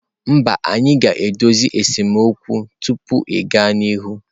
Mba, anyị ga-edozi esemokwu tupu ịga n'ihu.